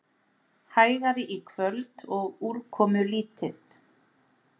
Hægari í kvöld og úrkomulítið